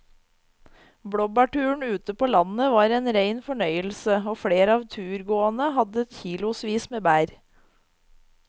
Blåbærturen ute på landet var en rein fornøyelse og flere av turgåerene hadde kilosvis med bær.